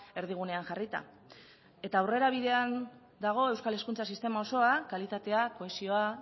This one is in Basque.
erdigunean jarrita eta aurrerabidean dago euskal hezkuntza sistema osoa kalitatea kohesioa